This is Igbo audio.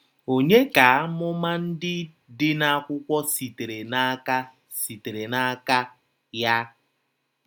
Ònye ka amụma ndị dị n'akwụkwọ sitere n’aka sitere n’aka ya?